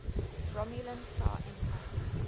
romulan star empire